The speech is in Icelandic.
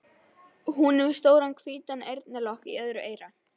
Hún er með stóran hvítan eyrnalokk í öðru eyra.